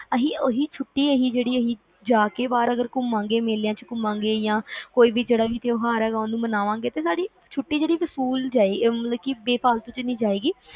ਤੇ ਅਸੀਂ ਉਹੀ ਛੁੱਟੀ ਜੇ ਬਾਹਰ ਘੁਮਾਂਗੇ ਮੇਲਿਆਂ ਚ ਘੁਮਾਂਗੇ ਕੋਈ ਵੀ ਜਿਹੜਾ ਤਿਉਹਾਰ ਹੈਗਾ ਓਹਨੂੰ ਮਨਾਵਾਂਗੇ ਛੁੱਟੀ ਜਿਹੜੀ ਵਸੂਲ ਜਾਏਗੀ ਮਤਲਬ ਬੇਫ਼ਾਲਤੁ ਚ ਨਹੀਂ ਜਾਏਗੀ